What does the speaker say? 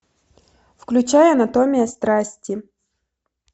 включай анатомия страсти